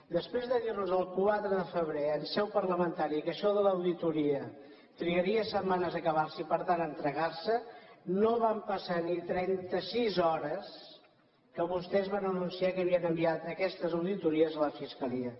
després de dir nos el quatre de febrer en seu parlamentària que això de l’auditoria trigaria setmanes a acabar se i per tant a entregar se no van passar ni trenta sis hores que vostès van anunciar que havien enviat aquestes auditories a la fiscalia